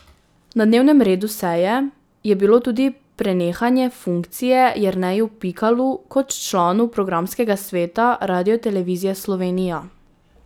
Na dnevnem redu seje je bilo tudi prenehanje funkcije Jerneju Pikalu kot članu programskega sveta Radiotelevizije Slovenija.